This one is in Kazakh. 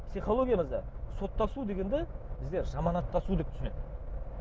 психологиямызда соттасу дегенді бізде жаманаттасу деп түсінеді